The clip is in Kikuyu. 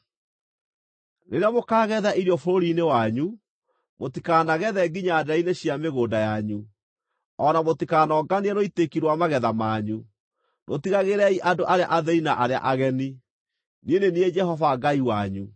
“ ‘Rĩrĩa mũkaagetha irio bũrũri-inĩ wanyu, mũtikanagethe nginya ndeere-inĩ cia mĩgũnda yanyu, o na mũtikanonganie rũitĩki rwa magetha manyu. Rũtigagĩriei andũ arĩa athĩĩni na arĩa ageni. Niĩ nĩ niĩ Jehova Ngai wanyu.’ ”